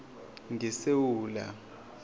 ngesewula